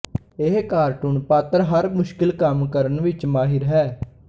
ਇਹ ਕਾਰਟੂਨ ਪਾਤਰ ਹਰ ਮੁਸ਼ਕਿਲ ਕੰਮ ਕਰਨ ਵਿੱਚ ਮਾਹਿਰ ਹੈ